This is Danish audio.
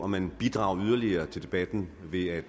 man bidrager yderligere til debatten ved at